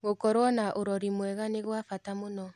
Gũkorwo na ũrori mwega nĩ gwa bata mũno.